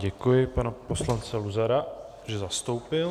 Děkuji panu poslanci Luzarovi, že zastoupil.